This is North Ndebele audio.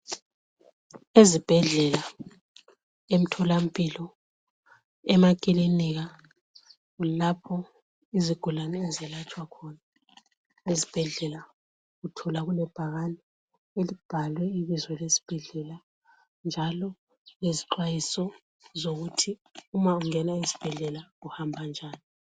Ezibhedlela, emtholampilo, emakilinika kulapho izigulane ezelatshwa khona. Ezibhedlela uthola kulebhakane elibhalwe ibizo lesibhedlela njalo lezixhwayiso zokuthi uma ungena esibhedlela uhamba njani.